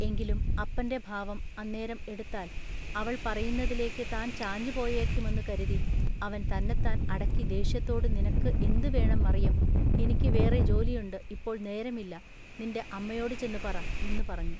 എങ്കിലും അപ്പന്റെ ഭാവം അന്നേരം എടുത്താൽ അവൾ പറയുന്നതിലേക്കു താൻ ചാഞ്ഞുപോയേക്കുമെന്നു കരുതി അവൻ തന്നെത്താൻ അടക്കി ദേഷ്യത്തോടു നിനക്കു എന്തു വേണം മറിയം ഇനിക്കു വേറെ ജോലിയുണ്ടു ഇപ്പോൾ നേരമില്ല നിന്റെ അമ്മയോടു ചെന്നു പറ" എന്നു പറഞ്ഞു.